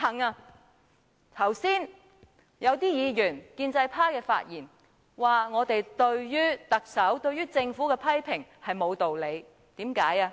有建制派議員剛才發言指我們對特首及政府的批評沒有道理。